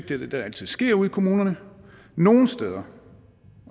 det er det der altid sker ude i kommunerne nogle steder